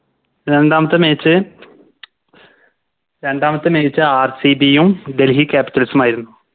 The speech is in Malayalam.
രണ്ടാമത്തെ Match രണ്ടാമത്തെ MatchRCB യും Delhi capitals ഉമായിരുന്നു